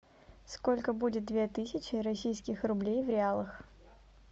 сколько будет две тысячи российских рублей в реалах